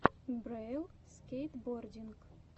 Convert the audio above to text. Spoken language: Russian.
брэйл скейтбординг